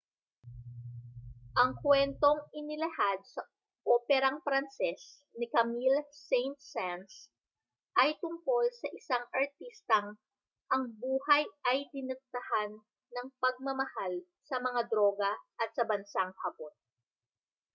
ang kuwentong inilahad sa operang pranses ni camille saint-saens ay tungkol sa isang artistang ang buhay ay diniktahan ng pagmamahal sa mga droga at sa bansang hapon